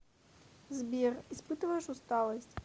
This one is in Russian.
сбер испытываешь усталость